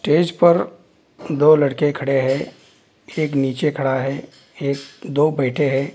Stage पे दो लड़के खड़े है एक नीचे खड़ा है एक दो बैठे है।